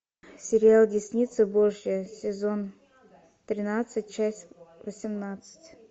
сериал десница божья сезон тринадцать часть восемнадцать